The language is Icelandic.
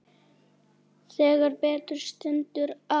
Þegar betur stendur á